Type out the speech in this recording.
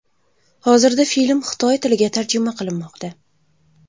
Hozirda film xitoy tiliga tarjima qilinmoqda.